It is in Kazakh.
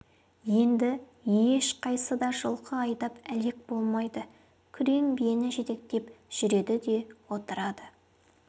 енді ешқайсы да жылқы айдап әлек болмайды күрең биені жетектеп жүреді де отырады